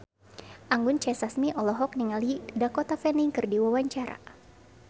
Anggun C. Sasmi olohok ningali Dakota Fanning keur diwawancara